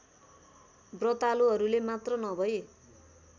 व्रतालुहरूले मात्र नभई